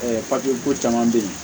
ko caman be yen